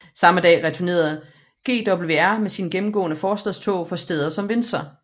Samme dag returnerede GWR med sine gennemgående forstadstog fra steder som Windsor